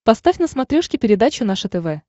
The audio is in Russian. поставь на смотрешке передачу наше тв